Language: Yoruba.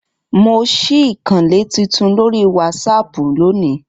Mo ṣí ìkànnlé titun lórí wásápù lónìí